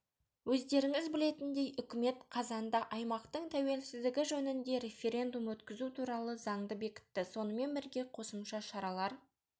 өздеріңіз білетіндей үкімет қазанда аймақтың тәуелсіздігі жөнінде референдум өткізу туралы заңды бекітті сонымен бірге қосымша шаралар